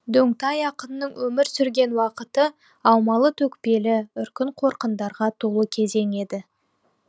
дөңтай ақынның өмір сүрген уақыты аумалы төкпелі үркін қорқындарға толы кезең еді